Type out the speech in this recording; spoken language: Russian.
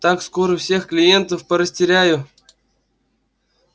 так скоро всех клиентов порастеряю